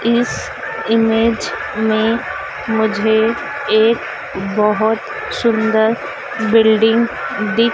इस ईमेज में मुझे एक बहोत सुंदर बिल्डिंग दिख--